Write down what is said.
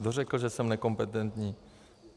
Kdo řekl, že jsem nekompetentní?